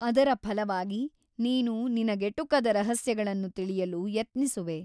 ಅದರ ಫಲವಾಗಿ ನೀನು ನಿನಗೆಟುಕದ ರಹಸ್ಯಗಳನ್ನು ತಿಳಿಯಲು ಯತ್ನಿಸುವೆ.